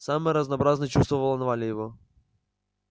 самые разнообразные чувства волновали его